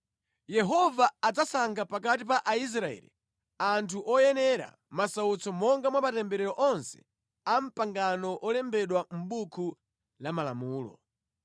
Yehova adzasankha pakati pa Aisraeli anthu oyenera masautso monga mwa matemberero onse a mʼpangano olembedwa Mʼbuku la Malamulo.